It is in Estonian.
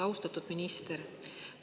Austatud minister!